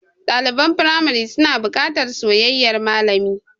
Ɗaliban firamari suna buƙatar soyayyar malami.